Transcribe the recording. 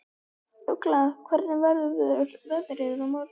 Ugla, hvernig verður veðrið á morgun?